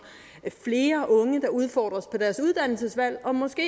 at flere unge der udfordres på deres uddannelsesvalg måske